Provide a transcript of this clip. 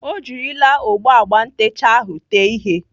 Ọ jirila ogbo agba ntecha ahụ tee ihe.